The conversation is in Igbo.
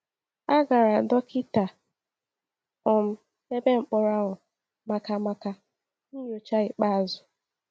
A gara dọkịta um ebe mkpọrọ ahụ maka maka nyocha ikpeazụ.